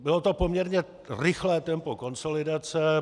Bylo to poměrně rychlé tempo konsolidace.